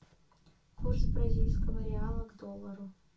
курс бразильского реала к доллару